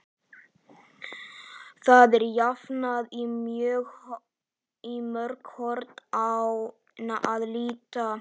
Það er jafnan í mörg horn að líta.